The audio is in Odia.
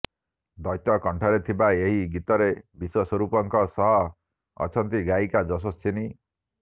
ଦ୍ୱୈତକଣ୍ଠରେ ଥିବା ଏହି ଗୀତରେ ବିଶ୍ୱସ୍ୱରୂପଙ୍କ ସହ ଅଛନ୍ତି ଗାୟିକା ଯଶସ୍ୱୀନି